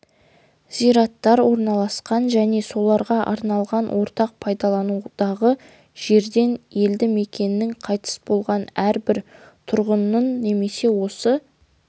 зираттар орналасқан және соларға арналған ортақ пайдаланудағы жерден елді мекенінің қайтыс болған әрбір тұрғынын немесе осы